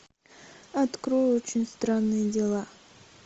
открой очень странные дела